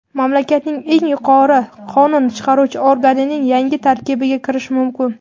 mamlakatning eng yuqori qonun chiqaruvchi organining yangi tarkibiga kirishi mumkin.